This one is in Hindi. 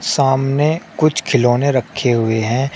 सामने कुछ खिलौने रखे हुए हैं।